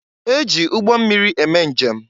E ji ụgbọmmịri eme njem.